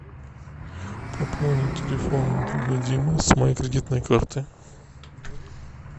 пополнить телефон друга димы с моей кредитной карты